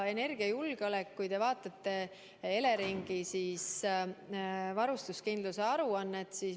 Vaadake Eleringi varustuskindluse aruannet.